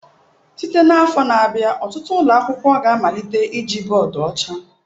Site n'afọ na-abịa, ọtụtụ ụlọ akwụkwọ ga-amalite iji bọọdụ ọcha.